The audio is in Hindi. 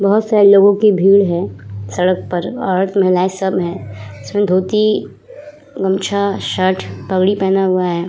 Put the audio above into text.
बहोत सारे लोगों की भीड़ हैं सड़क पर। महिलाये संग हैं और धोती गमछा शर्ट पगड़ी पहना हुआ है।